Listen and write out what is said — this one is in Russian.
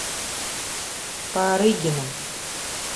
парыгина